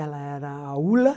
Ela era a Ulla.